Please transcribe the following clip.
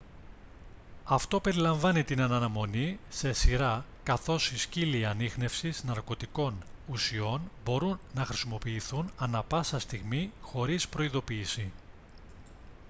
αυτό περιλαμβάνει την αναμονή σε σειρά καθώς οι σκύλοι ανίχνευσης ναρκωτικών ουσιών μπορούν να χρησιμοποιηθούν ανά πάσα στιγμή χωρίς προειδοποίηση